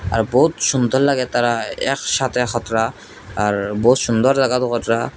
আর বহুত সুন্দর লাগে তারা একসাথে হাতরা আর বহুত সুন্দর লাগাগো কাটরা।